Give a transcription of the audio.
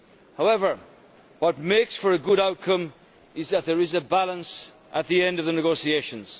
However, what makes for a good outcome is that there is a balance at the end of the negotiations.